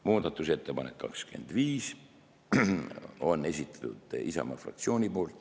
Muudatusettepaneku nr 25 on esitanud Isamaa fraktsioon.